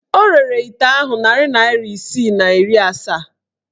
O rere ite ahụ narị naịra isii na iri asaa.